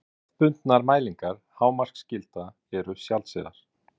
Hefðbundnar mælingar hámarksgilda eru sjaldséðar.